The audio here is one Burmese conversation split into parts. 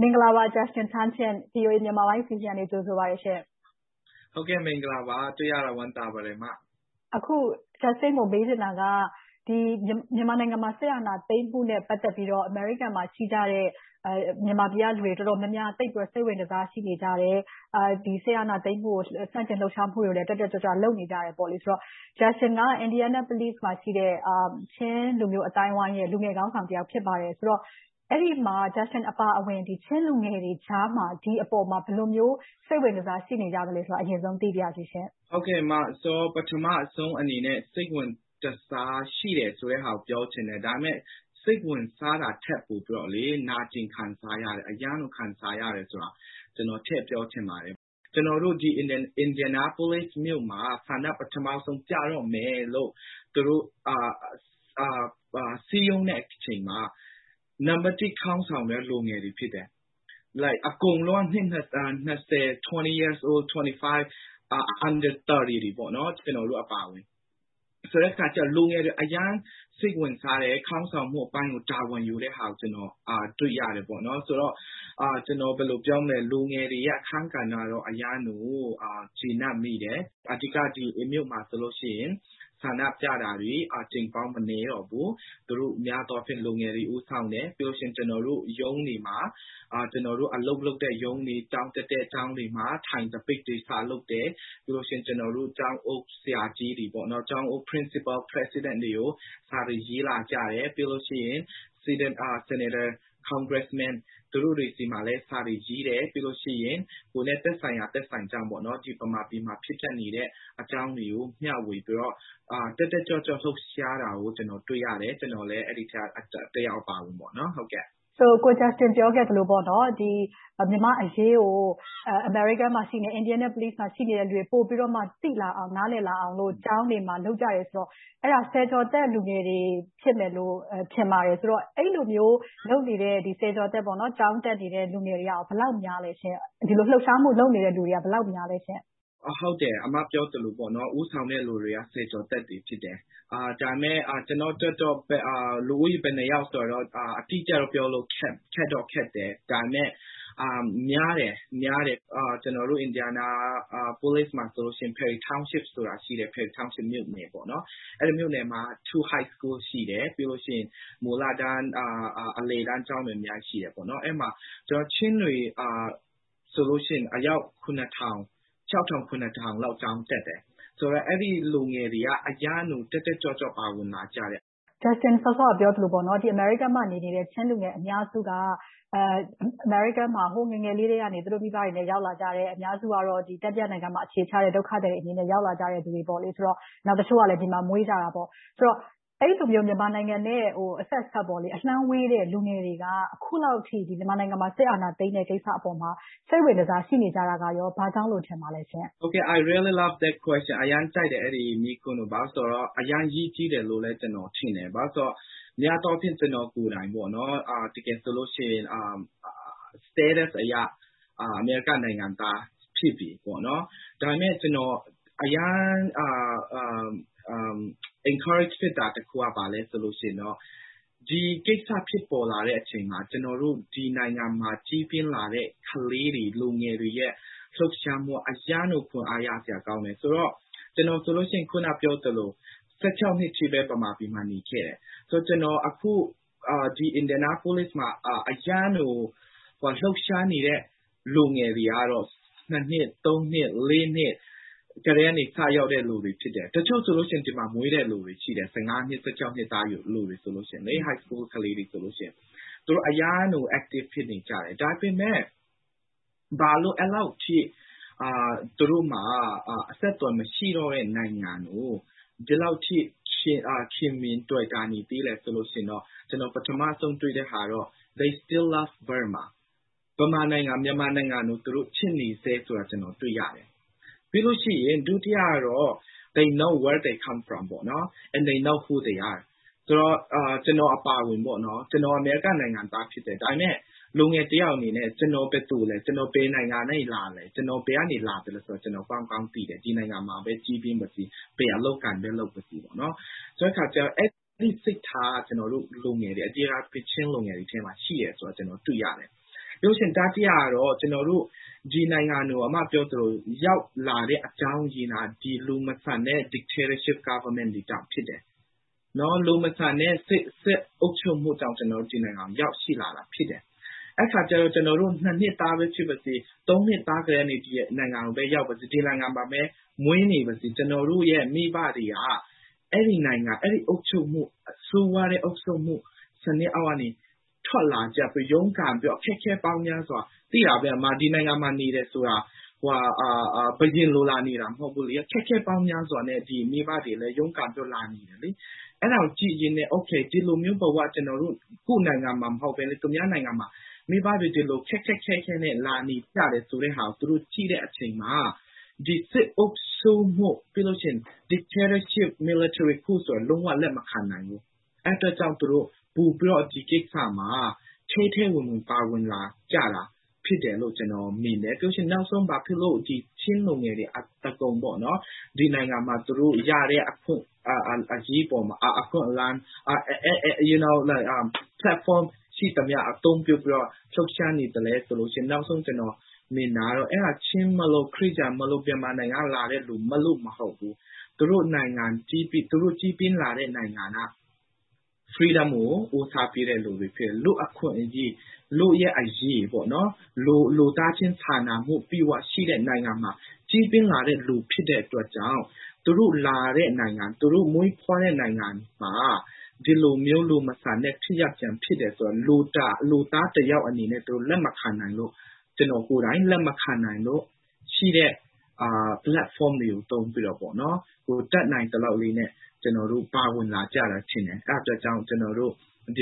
မင်္ဂလာပါ Justin Thang ရှင့်။ VOA မြန်မာပိုင်းအစီအစဉ်က ကြိုဆိုပါတယ်ရှင့်။ အခု Justin ကို မေးချင်တာက မြန်မာနိုင်ငံမှာ စစ်အာဏာသိမ်းမှုနဲ့ ပတ်သက်ပြီးတော့ အမေရိကန်မှာ ရှိကြတဲ့ မြန်မာပြည်ကလူတွေ တော်တော်များများက သိပ်ပြီးတော့ စိတ်ဝင်တစား ရှိနေကြတယ်။ စစ်အာဏာရှင် ဆန့်ကျင်လှုပ်ရှားမှုတွေကိုလည်း တက်တက်ကြွကြွ လုပ်နေကြတယ်ဆိုတော့ Justin က Indianapolis မှာရှိတဲ့ ချင်းလူမျိုး အသိုင်းအဝိုင်းရဲ့ လူငယ်ခေါင်းဆောင်တဦး ဖြစ်ပါတယ်ဆိုတော့ အဲဒီမှာ Justin အပါအဝင် ချင်းလူငယ်တွေကြားမှာ ဒီအပေါ်မှာ ဘယ်လိုမျိုး စိတ်ဝင်တစား ရှိနေကြသလဲဆိုတာကို အရင်ဆုံး သိပါရစေရှင့်။ ဟုတ်ကဲ့ မင်္ဂလာပါ။ တွေ့ရတာ ဝမ်းသာပါတယ် အမ။ ပထမဦးဆုံးအနေနဲ့ စိတ်ဝင်တစား ရှိတယ်ဆိုတာကို ပြောချင်တယ်။ ဒါပေမဲ့ စိတ်ဝင်စားတာထက် နာကျင်ခံစားရတယ်။ အရမ်းကို ခံစားရတယ်ဆိုတာကို ထည့်ပြောချင်ပါတယ်။ ကျနော်တို့ Indianapolis မြို့မှာ ဆန္ဒ ပထမဆုံးပြတော့မယ်လို့ စည်းရုံးတဲ့အချိန်မှာ နံပတ်တစ်က လူငယ်ခေါင်းဆောင်တွေ ဖြစ်တယ်။ အကုန်လုံးက အသက် နှစ်ဆယ်၊ နှစ်ဆယ့်ငါး၊ သုံးဆယ်အောက်တွေပေါ့ ကျနော်တို့အပါအဝင်။ ဆိုတဲ့အခါကြတော့ လူငယ်တွေ အရမ်းစိတ်ဝင်စားတယ်။ ခေါင်းဆောင်မှုပိုင်းကို တာဝန်ယူတဲ့ဟာကို တွေ့ရတယ်။ အဲဒီတော့ လူငယ်တွေရဲ့ အခန်းကဏ္ဍကို အရမ်းကျေနပ်မိတယ်။ အဓိက ဒီမြို့မှာဆိုရင် ဆန္ဒပြတာတွေ အကြိမ်ပေါင်းမနည်းတော့ဘူး။ များသောအားဖြင့် လူငယ်တွေ ဦးဆောင်တယ်။ ပြီးတော့ ကျနော်တို့ ရုံးတွေမှာ အလုပ်လုပ်တဲ့ရုံးတွေ၊ ကျောင်းတက်တဲ့ကျောင်းတွေမှာ ထိုင်သပိတ်တွေ စလုပ်တယ်။ ပြီးတော့ ကျနော်တို့ ကျောင်းအုပ်ဆရာကြီးတွေ Principals, Professors တွေကို စာတွေရေးကြတယ်။ ပြီးတော့ Senators, Congressmen တွေကို စာတွေရေးတယ်။ ပြီးတော့ ကိုယ်နဲ့သက်ဆိုင်ရာ သက်ဆိုင်ကြောင်း ဗမာပြည်မှာ ဖြစ်ပျက်နေတဲ့ အကြောင်းတွေကို မျှဝေပြီးတော့ တက်တက်ကြွကြွနဲ့ လှုပ်ရှားကြတာကို တွေ့ရတယ်။ ကျနော်လည်း အဲဒီအထဲက တယောက်အပါအဝင်ပေါ့။ Justin ပြောခဲ့သလို မြန်မာ့အရေးကို အမေရိကန်နိုင်ငံ Indianapolis မှာ ရှိနေတဲ့ လူတွေပိုပြီးတော့ သိလာအောင်၊ နားလည်လာအောင်လို့ ကျောင်းတွေမှာ လုပ်ကြတယ်ဆိုတော့ အဲဒါ ဆယ်ကျော်သက်လူငယ်တွေ ဖြစ်မယ်လို့ ထင်ပါတယ်။ အဲဒီလိုမျိုး လုပ်နေတဲ့ ဆယ်ကျော်သက် ကျောင်းတက်နေတဲ့ လူငယ်တွေက ဘယ်လောက်များလဲ။ ဒီလိုလှုပ်ရှားမှု လုပ်နေတဲ့ လူတွေက ဘယ်လောက်များပါသလဲရှင့်။ အမပြောသလို ဦးဆောင်တဲ့လူတွေက ဆယ်ကျော်သက်တွေ ဖြစ်တယ်။ ဒါပေမဲ့ ကျနော်အတွက်တော့ လူဦးရေ ဘယ်နှစ်ယောက်ဆိုတာတော့ အတိအကျတော့ ပြောဖို့ခက်တယ်။ ဒါပေမဲ့ များတယ် ကျနော်တို့ Indianapolis မှာဆိုရင် Perry township ဆိုတာရှိတယ်။ အဲဒီမြို့နယ်မှာ အထက်တန်းကျောင်း နှစ်ကျောင်း ရှိတယ်။ ပြီးတော့ မူလတန်း၊ အလယ်တန်းကျောင်းတွေ အများကြီးရှိတယ်။ အဲဒီမှာ ချင်းတွေက အယောက် ထောင် ထောင်လောက် ကျောင်းတက်တယ်။ အဲဒီလူငယ်တွေက အရမ်းကို တက်တက်ကြွကြွနဲ့ ပါဝင်လာကြတယ်။ Justin စောစောကပြောသလို အမေရိကန်နိုင်ငံမှာနေနေတဲ့ ချင်းလူငယ်အများစုက အမေရိကမှာ ဟိုးငယ်ငယ်ကတည်းက သူတို့မိဘတွေနဲ့ ရောက်လာကြတယ်။ အများစုကတော့ တတိယနိုင်ငံမှာ အခြေချတဲ့ ဒုက္ခသည်အဖြစ် ရောက်လာကြသူတွေ။ တချို့ကလဲ ဒီမှာမွေးကြတာပေါ့။ ဆိုတော့ အဲဒီလိုမျိုး မြန်မာနိုင်ငံနဲ့ အဆက်အစပ် အလှမ်းဝေးတဲ့ လူငယ်တွေက အခုလောက်အထိ မြန်မာနိုင်ငံမှာ စစ်အာဏာသိမ်းတဲ့ကိစ္စအပေါ်မှာ စိတ်ဝင်တစား ရှိနေကြတာ ဘာကြောင့်လဲ ထင်ပါသလဲ။ I really love the question. အရမ်းကြိုက်တယ် အဲဒီမေးခွန်းကို။ ဘာဖြစ်လို့လဲဆိုတော့ အရေးကြီးတယ်လို့လည်း ကျနော်ထင်တယ်။ ဘာဖြစ်လို့လဲဆိုတော့ များသောအားဖြင့် ကျနော်ကိုယ်တိုင် တကယ်ဆိုလို့ရှိရင် Status အရ အမေရိကန်နိုင်ငံသား ဖြစ်နေပြီ။ ဒါပေမဲ့ ကျနော် အရမ်း encouragement ဖြစ်တာတခုက ဘာလဲဆိုတော့ ဒီကိစ္စဖြစ်ပေါ်လာတဲ့အချိန်မှာ ကျနော်တို့ ဒီနိုင်ငံမှာ ကြီးပြင်းလာတဲ့ ကလေးတွေ၊ လူငယ်တွေရဲ့ လှုပ်ရှားမှုက အရမ်းကို ခွန်အားရစရာကောင်းတယ်။ ကျနော်ဆိုလို့ရှိရင် အခုနပြောသလို နှစ်အထိပဲ ဗမာပြည်မှာ နေခဲ့တယ်။ ကျနော် အခု Indianapolis မှာ အရမ်းကို လှုပ်ရှားနေတဲ့ လူငယ်တွေကတော့ နှစ် နှစ် နှစ်ကတည်းက စရောက်ကြတဲ့ လူတွေဖြစ်တယ်။ တချို့ဆိုရင် ဒီမှာမွေးတဲ့လူတွေ ရှိတယ်။ နှစ် နှစ် အထက်တန်းကျောင်းသားတွေဆိုရင်။ သူတို့တွေဆို အရမ်းကိုတက်ကြွနေကြတယ်။ ဒါပေမဲ့ ဘာလို့ အဲဒီလောက်အထိ သူတို့နဲ့ အဆက်အသွယ်မရှိတော့တဲ့ နိုင်ငံကို ဒီလောက်အထိ ချစ်ခင်တွယ်တာနေသလဲဆိုရင် ကျနော် ပထမဦးဆုံး တွေ့တဲ့ဟာကတော့ They still love Burma. ဗမာနိုင်ငံ မြန်မာနိုင်ငံကို သူတို့ချစ်နေဆဲကို ကျနော် တွေ့ရတယ်။ ပြီးလို့ရှိရင် ဒုတိယကတော့ They know where they come from. They know who they are. ကျနော်အပါအဝင် ကျနော်အမေရိကန်နိုင်ငံသား ဖြစ်တယ်။ ဒါပေမဲ့ လူငယ်တယောက်အနေနဲ့ ကျနော်ဘယ်သူလဲ။ ကျနော် ဘယ်နိုင်ငံကလာလဲ။ ကျနော် ဘယ်ကလာသလဲဆိုတာကို ကောင်းကောင်းသိတယ်။ ဒီနိုင်ငံမှာပဲ ကြီးပြင်းပါစေ၊ ဘယ်လိုအလုပ်အကိုင်ပဲ လုပ်ပါစေ။ ဆိုတဲ့အခါကြတော့ အဲဒီစိတ်ထား ကျနော်တို့ လူငယ်တွေ ချင်းလူငယ်တွေထဲမှာ ရှိနေတယ်ဆိုတာကို ကျနော် တွေ့ရတယ်။ တတိယအချက်ကတော့ ကျနော်တို့ ဒီနိုင်ငံကို အမပြောသလို ရောက်လာတဲ့ အကြောင်းရင်းက လူမဆန်တဲ့ Dictatorship Government အာဏာရှင်အစိုးရတွေကြောင့် ဖြစ်တယ်။ လူမဆန်တဲ့ စစ်အုပ်ချုပ်မှုကြောင့် ကျနော်တို့ ဒီနိုင်ငံကို ရောက်ရှိလာတာ ဖြစ်တယ်။ အဲဒီအခါကြတော့ ကျနော်တို့ နှစ်သားပဲ ဖြစ်ပါစေ၊ နှစ်သားကတည်းက ဒီနိုင်ငံကို ရောက်ပါစေ၊ ဒီနိုင်ငံမှာပဲ မွေးနေပါစေ။ ကျနော်တို့ရဲ့ မိဘတွေက အဲဒီနိုင်ငံ၊ အဲဒီအုပ်ချုပ်မှု ဆိုးဝါးတဲ့အုပ်ချုပ်မှုစနစ်အောက်ကနေ ထွက်လာကြပြီး ရုန်းကန်ပြီး အခက်အခဲပေါင်းများစွာ - အမ သိတာပဲ ဒီနိုင်ငံမှာဆိုတာ ဘုရင်လို လာနေတာ မဟုတ်ဘူးလေ - အခက်အခဲပေါင်းများစွာနဲ့ မိဘတွေလည်း ရုန်းကန်ပြီးတော့ လာနေကြတယ်။ အဲဒါကို ကြည့်ရင်နဲ့ ဒီလိုမျိုးဘဝ ကျနော်တို့ ကိုယ့်နိုင်ငံမှာ မဟုတ်ဘဲနဲ့ သူများနိုင်ငံမှာ မိဘတွေ ဒီလိုခက်ခက်ခဲခဲနဲ့ လာနေကြတယ်ဆိုတာကို သူတို့ကြည့်တဲ့အခါမှာ ဒီစစ်အုပ်ဆိုးမှု Dictatorship Military Coup ဆိုတာ လုံးဝလက်မခံနိုင်ဘူး။ အဲဒီအတွက်ကြောင့်မို့ သူတို့ပိုပြီးတော့ ဒီကိစ္စမှာ ထဲထဲဝင်ဝင် ပါဝင်လာကြတာ ဖြစ်တယ်လို့ ကျနော်မြင်တယ်။ နောက်ဆုံး ဘာဖြစ်လို့ ချင်းလူငယ်တွေ အသားကုန် ဒီနိုင်ငံမှာ သူတို့ရတဲ့ အခွင့်အရေး၊ အခွင့်အလမ်းပေါ်မှာ Platform ရှိသမျှကို အသုံးပြုပြီးတော့ လှုပ်ရှားနေသလဲဆိုရင် နောက်ဆုံး ကျနော်မြင်တာကတော့ ချင်းမိုလို့၊ ခရစ်ယာန်မိုလို့၊ မြန်မာနိုင်ငံကလာတဲ့ လူမိုလို့ မဟုတ်ဘူး။ သူတို့နိုင်ငံ ကြီးပြင်းလာတဲ့ နိုင်ငံက Freedom ကို ဦးစားပေးသူတွေဖြစ်ပြီး၊ လူ့အခွင့်အရေး၊ လူ့အရေး လူသားချင်းစာနာမှု အပြည့်အဝရှိတဲ့ နိုင်ငံမှာ ကြီးပြင်းလာတဲ့ လူဖြစ်တဲ့အတွက်ကြောင့် သူတို့လာတဲ့နိုင်ငံ၊ သူတို့ မွေးဖွားတဲ့နိုင်ငံမှာ ဒီလိုမျိုး လူမဆန်တဲ့ ဖြစ်ရပ်တွေ ဖြစ်နေတာကို လူသားတယောက်အနေနဲ့ လက်မခံလို့။ ကျနော်ကိုယ်တိုင် လက်မခံနိုင်လို့ ရှိတဲ့ Platform တွေကို သုံးပြီးတော့ တတ်နိုင်သလောက် ပါဝင်ကြတာထင်တယ်။ အဲဒါကြောင့် ကျနော်တို့ င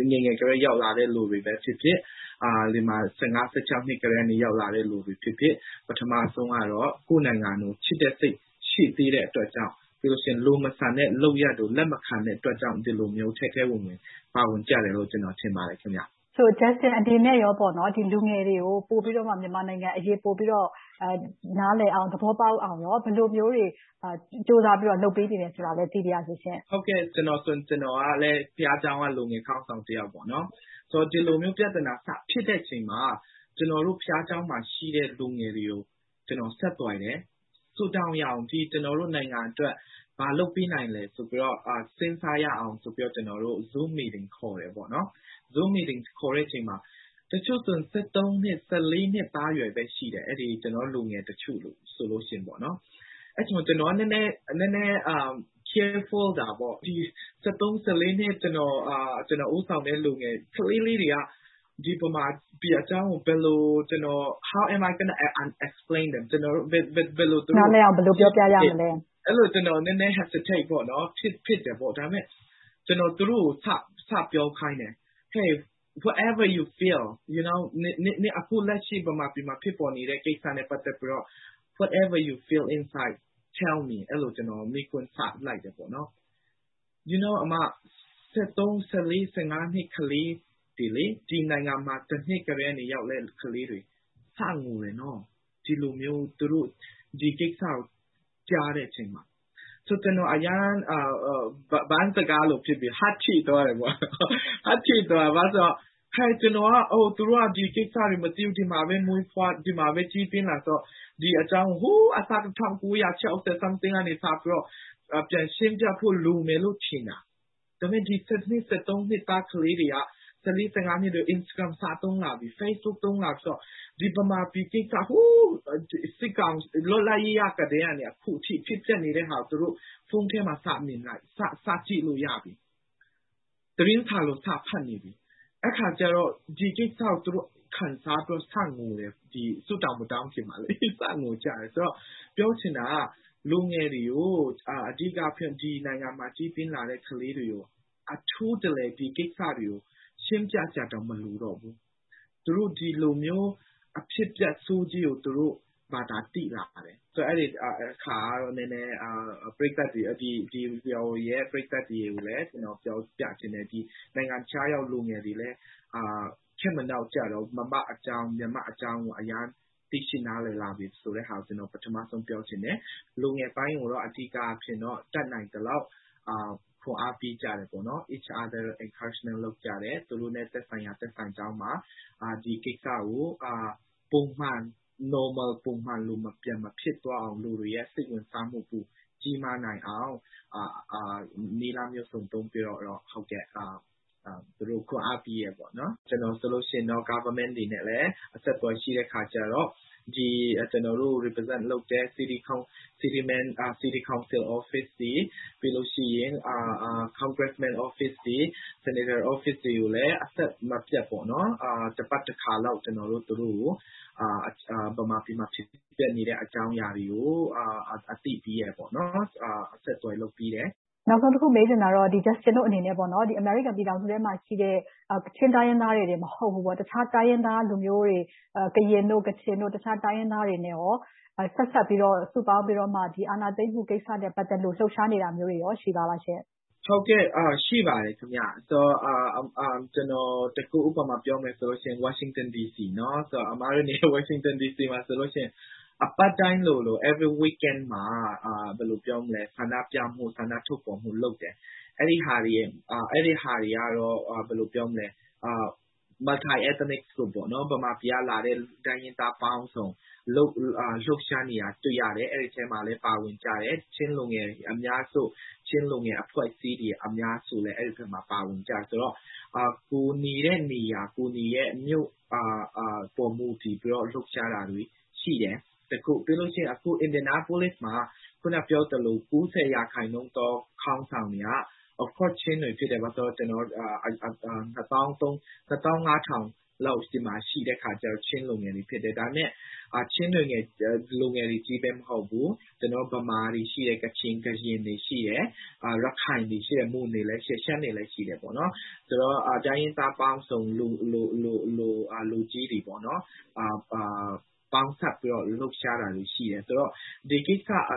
ယ်ငယ်ကတည်းက ရောက်လာကြတဲ့ လူတွေပဲဖြစ်ဖြစ်၊ ဒီမှာ နှစ်မှာ ရောက်လာကြသူတွေပဲဖြစ်ဖြစ် ပထမဆုံးကတော့ ကိုယ့်နိုင်ငံကို ချစ်တဲ့စိတ် ရှိပြီးတဲ့အတွက်ကြောင့်၊ ပြီးတော့ လူမဆန်တဲ့ လုပ်ရပ်တွေကို လက်မခံတဲ့အတွက်ကြောင့် ဒီလိုမျိုး ထဲထဲဝင်ဝင် ပါဝင်ကြတယ်လို့ ကျနော် ထင်ပါတယ်။ Justin အနေနဲ့ လူငယ်တွေကို ပိုပြီးတော့ မြန်မာနိုင်ငံအရေး ပိုပြီးတော့ နားလည်အောင်၊ သဘောပေါက်အောင် ဘယ်လိုမျိုးတွေ ကြိုးစားပြီးတော့ လုပ်ပေးနေတယ်ဆိုတာကိုလည်း သိပါရစေရှင့်။ ကျနော်ကလည်း ဘုရားကျောင်းက လူငယ်ခေါင်းဆောင်တယောက်ပေါ့။ ဒီလိုမျိုး ပြဿနာ စဖြစ်တဲ့အချိန်မှာ ကျနော်တို့ ဘုရားကျောင်းမှာရှိတဲ့ လူငယ်တွေကို ဆက်သွယ်တယ်။ ကျနော်တို့နိုင်ငံအတွက် ဆုတောင်းရအောင်၊ ဘာလုပ်ပေးနိုင်မလဲဆိုတာတွေ စဉ်းစားရအောင်ဆိုပြီး ကျနော်တို့ Zoom Meeting ခေါ်တယ်။ အစည်းအဝေးခေါ်တဲ့အချိန်မှာ တချို့ဆိုရင် နှစ် နှစ်သားအရွယ်ပဲ ရှိသေးတယ် - တချို့လူငယ်တွေက။ အဲဒီအချိန်မှာ ကျနော်က နည်းနည်းသတိထားတာက အသက် လူငယ်ကလေးလေးတွေက ဒီဗမာပြည်အကြောင်းကို How can I explain to them? နားလည်အောင် ဘယ်လိုပြောပြရမလဲ။ အဲဒီလို ကျနော် နည်းနည်းတွန့်ဆုတ်မိတယ်။ ကျနော်က သူတို့ကို စပြောခိုင်းတယ်။ Whatever you feel inside tell me အခု မြန်မာပြည်မှာ ဖြစ်ပေါ်နေတဲ့ ကိစ္စနဲ့ ပတ်သက်ပြီးတော့ ကျနော်ကို ပြောပါဆိုပြီး စပြောလိုက်တယ်။ နှစ် ကလေးတွေ - ဒီနိုင်ငံကို နှစ်ကတည်းက ရောက်ခဲ့တဲ့ ကလေးတွေက စငိုတယ်။ ဒီလိုမျိုး ဒီကိစ္စကို ကြားတဲ့အချိန်မှာ။ ဆိုတော့ ဘန်းစကားနဲ့ ပြောမယ်ဆိုရင် ကျနော် Heart ထိသွားတယ်။ ဘာဖြစ်လို့လဲဆိုတော့ ကျနော်က သူတို့တွေ ဒီကိစ္စတွေ မသိဘူး။ ဒီမှာပဲ ကြီးပြင်းလာကြတာဆိုတော့ ဒီအကြောင်းကို ဟိုးအစကနေ ၁၉၆၀ လောက်ကနေ ပြန်ရှင်းရမယ်လို့ လိုမယ်ထင်တာ။ ဒါပေမဲ့ ဒီ နှစ် ကလေးတွေက Instragram, Facebook စသုံးလာပြီးဆိုတော့ ဒီဗမာပြည်ကိစ္စ ဟိုးစစ်ကောင်စီ - လွတ်လပ်ရေးရပြီးကနေ အခုဖြစ်ပျက်နေတာတွေကို သူတို့တွေ ဖုန်းထဲမှာ စမြင် စကြည့်လို့ရပြီ။ သတင်းစာလို စာဖတ်နေပြီ။ အဲဒီအခါကြတော့ ဒီကိစ္စကို ခံစားပြီးတော့ စငိုကြတယ်။ ဆုမတောင်းခင်မှာ။ ပြောချင်တာက လူငယ်တွေကို အထူးသဖြင့် ဒီနိုင်ငံမှာ ကြီးပြင်းလာတဲ့ လူငယ်တွေကို အထူးတလည် ဒီကိစ္စတွေကို ရှင်းပြစရာတောင် မလိုတော့ဘူး။ သူတို့တွေ ဒီလိုမျိုး အဖြစ်အပျက်ဆိုးကြီးကို သူတို့ဘာသာ သိလာတယ်။ VOA ရယ် ပရိသတ်တွေကိုလည်း ပြောပြချင်တယ်။ နိုင်ငံခြားရောက် လူငယ်တွေလည်း ခေတ်မနောက်ကျတော့ဘူး။ ဗမာ့အကြောင်း၊ မြန်မာ့အကြောင်းကို အများကြီးသိရှိနားလည်လာပြီဆိုတာကို ပြောချင်တယ်။ လူငယ်ပိုင်းကိုတော့ အဓိကအားဖြင့်တော့ တတ်နိုင်သလောက် ခွန်းအားပေးကြတယ်။ Each other encouragement လုပ်ကြတယ်။ သူတို့နဲ့ သက်ဆိုင်ရာ သက်ဆိုင်ကျောင်းမှာ ဒီကိစ္စကို ပုံမှန် Normal ပြန်မဖြစ်သွားအောင် လူတွေရဲ့ စိတ်ဝင်စားမှု ပိုကြီးမားလာအောင် နည်းလမ်းမျိုးစုံ သုံးပြီးတော့ ခွန်းအားပေးနေကြတယ်။ ကျနော်ဆိုရင် အစိုးရတွေနဲ့ အဆက်အသွယ်ရှိတယ်ဆိုတော့ မြို့နယ်အုပ်ချုပ်ရေးတွေ၊ ကွန်ဂရက်ရုံးတွေ၊ ဆီနိတ်ရုံးတွေကိုလည်း အဆက်မပြတ် တပတ်တခါလောက် ကျနော်တို့ သူတို့ကို ဗမာပြည်မှာ ဖြစ်ပျက်နေတဲ့ အကြောင်းအရာတွေကို အသိပေးတယ်။ ဆက်သွယ်လုပ်ပေးတယ်။ နောက်ဆုံးတခု မေးချင်တာက Justin တို့အနေနဲ့ အမေရိကန်ပြည်ထောင်စုထဲမှာရှိတဲ့ ချင်းတိုင်းရင်းသားတွေအပြင် တခြားတိုင်းရင်းသားလူမျိုးတွေ ကရင်၊ ကချင်၊ တခြားတိုင်းရင်းသားတွေနဲ့ ဆက်စပ်ပြီး၊ စုပေါင်းပြီးတော့ ဒီအာဏာသိမ်းမှုကိစ္စနဲ့ ပတ်သက်လို့ လှုပ်ရှားနေတာမျိုး ရှိပါသလားရှင့်။ ဟုတ်ကဲ့ ရှိပါတယ်။ ကျနော် တခု ဥပမာပြောမယ်ဆိုရင် ဝါရှင်တန်ဒီစီ - အမတို့နေတဲ့ ဝါရှင်တန်ဒီစီမှာဆိုရင် အပတ်တိုင်းလိုလို Every Weekend မှာ ဆန္ဒပြမှု၊ ဆန္ဒထုတ်ဖော်မှုတွေ လုပ်နေကြတယ်။ အဲဒီဟာတွေကတော့ Multiethnic groups မြန်မာပြည်ကလာကြတဲ့ တိုင်းရင်းသားပေါင်းစုံ လှုပ်ရှားနေကြတာကို တွေ့ရတယ်။ အဲဒီအထဲမှာလဲ ပါဝင်ကြတဲ့ ချင်းလူငယ်တွေ အများစု။ ချင်းလူငယ်အဖွဲ့အစည်း အများစုလည်း အဲဒီအထဲမှာ ပါဝင်ကြတယ်ဆိုတော့ ကိုယ်နေတဲ့နေရာ၊ ကိုယ်တွေရဲ့ မြို့ပေါ်မူတည်ပြီးတော့ လှုပ်ရှားတာတွေ ရှိတယ်။ နောက် Indianapolis မှာ အခုနပြောသလို ရာခိုင်နှုန်းသော ခေါင်းဆောင်တွေက ချင်းတွေဖြစ်တယ်။ ဘာဖြစ်လို့လဲဆိုတော့ ချင်းလူမျိုး နှစ်သောင်းငါးထောင်လောက် ဒီမှာရှိတယ်ဆိုတော့ ချင်းလူငယ်တွေကြီးပဲ မဟုတ်ဘူး။ ဗမာတွေ ရှိတယ်။ ကရင်၊ ရခိုင်တွေ ရှိတယ်။ မွန်၊ ရှမ်းတွေလည်း ရှိတယ်။ ဆိုတော့ တိုင်းရင်းသားပေါင်းစုံ လူကြီးတွေ ပေါင်းစပ်ပြီးတော့ လှုပ်ရှားတာတွေ ရှိတယ်။ ဆိုတော့ ဒီစစ်အာ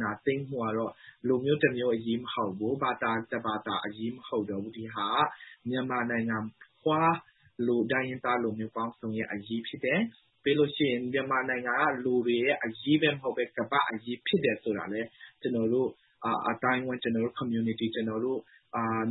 ဏာသိမ်းမှုကတော့ လူမျိုးတမျိုးအရေး မဟုတ်ဘူး။ ဘာသာတဘာသာအရေး မဟုတ်တော့ဘူး။ ဒီဟာက မြန်မာနိုင်ငံဖွား လူတိုင်း တိုင်းရင်းသားပေါင်းစုံရဲ့ အရေးကိစ္စ ဖြစ်တယ်။ ပြီးတော့ မြန်မာနိုင်ငံက လူတွေရဲ့ အရေးပဲ မဟုတ်ဘူး၊ ကမ္ဘာ့အရေး ဖြစ်တယ်ဆိုတာကိုလည်း ကျနော်တို့ အသိုင်းအဝိုင်း၊ ကျနော်တို့ Community၊ ကျနော်တို့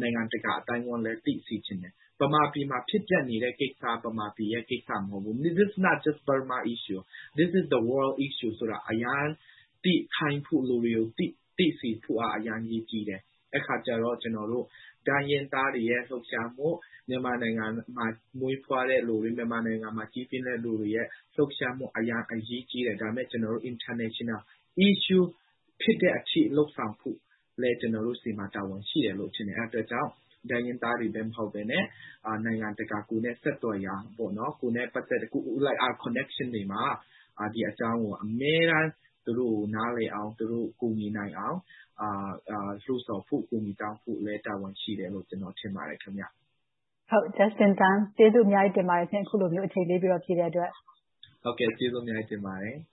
နိုင်ငံတကာ အသိုင်းအဝိုင်းကိုလည်း သိစေချင်တယ်။ ဗမာပြည်မှာ ဖြစ်ပျက်နေတဲ့ကိစ္စက ဗမာပြည်ရဲ့ ကိစ္စ မဟုတ်ဘူး။ This is not Burma issue. This is the world issue ဆိုတာကို လူတွေကို သိခိုင်းဖို့ သိစေဖို့က အရမ်းအရေးကြီးတယ်။ အဲဒီအခါကြတော့ ကျနော်တို့ တိုင်းရင်းသားတွေရဲ့ လှုပ်ရှားမှု။ မြန်မာနိုင်ငံမှာ မွေးဖွားတဲ့လူတွေ၊ မြန်မာနိုင်ငံမှာ ကြီးပြင်းတဲလူတွေရဲ့ လှုပ်ရှားမှု အရမ်းအရေးကြီးတယ်။ ဒါပေမဲ့ International issue ဖြစ်တဲ့အထိ လုပ်ဆောင်ဖို့လည်း ကျနော်တို့ဆီမှာ တာဝန်ရှိတယ်လို့ ထင်တယ်။ အဲဒီအတွက်ကြောင့် တိုင်းရင်းသားတွေပဲ မဟုတ်ဘဲနဲ့ နိုင်ငံတကာ ကိုယ်နဲ့ဆက်သွယ်ရာ ကိုယ်နဲ့ပတ်သက်ရာ Connection တွေမှာ ဒီအကြောင်းကို အမြဲတမ်း သူတို့ကို နားလည်အောင်၊ ကူညီနိုင်အောင် လုပ်ဆောင်ဖို့၊ အကူအညီတောင်းဖို့လည်း တာဝန်ရှိတယ်လို့ ကျနော်ထင်ပါတယ်။ Justin Thang ကျေးဇူးအများကြီး တင်ပါတယ်ရှင့်။ အခုလိုမျိုး အချိန်ပေးပြီး ဖြေကြားပေးတဲ့အတွက်။ ဟုတ်ကဲ့ ကျေးဇူးအများကြီး တင်ပါတယ်။